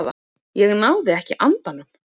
Ég náði ekki andanum.